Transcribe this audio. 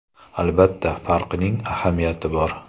Albatta, farqning ahamiyati bor.